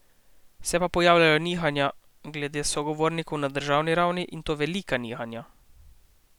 Se pa pojavljajo nihanja glede sogovornikov na državni ravni, in to velika nihanja.